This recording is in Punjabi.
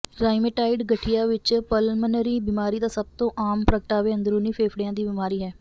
ਰਾਇਮੇਟਾਇਡ ਗਠੀਆ ਵਿਚ ਪਲਮਨਰੀ ਬੀਮਾਰੀ ਦਾ ਸਭ ਤੋਂ ਆਮ ਪ੍ਰਗਟਾਵੇ ਅੰਦਰੂਨੀ ਫੇਫੜਿਆਂ ਦੀ ਬਿਮਾਰੀ ਹੈ